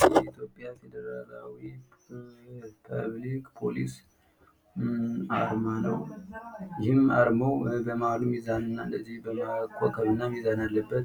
ይህ የኢትዮጵያ ፌደራል ፖሊስ አርማ ሲሆን ፤ ይህም በመሃሉ ላይ የኮኮብና የሚዛን ምስል አለበት።